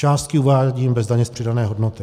Částky uvádím bez daně z přidané hodnoty.